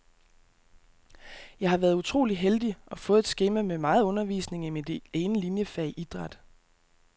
Jeg har været utrolig heldig og fået et skema med meget undervisning i mit ene liniefag, idræt.